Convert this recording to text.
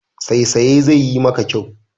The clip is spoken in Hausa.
Saisaye zai yi maka kyau.